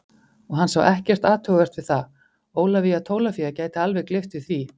Og hann sá ekkert athugavert við það, Ólafía Tólafía gæti alveg gleypt við því.